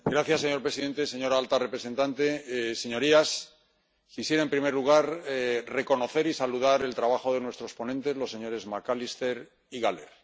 Señor presidente, señora alta representante, señorías, quisiera, en primer lugar, reconocer y saludar el trabajo de nuestros ponentes, los señores McAllister y Gahler.